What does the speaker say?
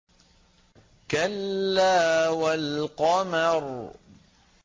كَلَّا وَالْقَمَرِ